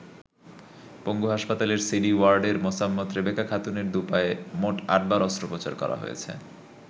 পঙ্গু হাসপাতালের সিডি ওয়ার্ডের মোসাম্মৎ রেবেকা খাতুনের দুপায়ে মোট আটবার অস্ত্রোপচার করা হয়েছে।